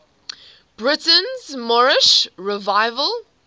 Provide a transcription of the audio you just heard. britain's moorish revival